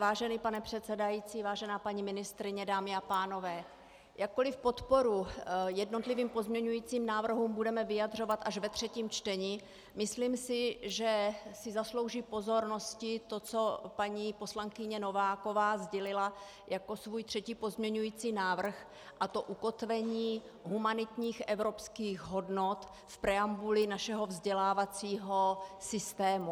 Vážený pane předsedající, vážená paní ministryně, dámy a pánové, jakkoli podporu jednotlivým pozměňujícím návrhům budeme vyjadřovat až ve třetím čtení, myslím si, že si zaslouží pozornosti to, co paní poslankyně Nováková sdělila jako svůj třetí pozměňující návrh, a to ukotvení humanitních evropských hodnot v preambuli našeho vzdělávacího systému.